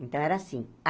Então, era assim. Ah